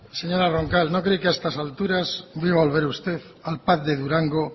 señora roncal no creí que a estas alturas iba a volver usted al pac de durango